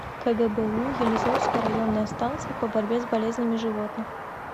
кгбу елизовская районная станция по борьбе с болезнями животных